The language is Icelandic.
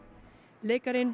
leikarinn